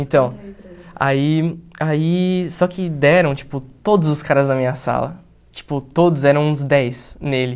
Então, aí aí, só que deram, tipo, todos os caras da minha sala, tipo, todos, eram uns dez nele.